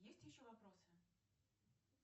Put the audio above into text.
есть еще вопросы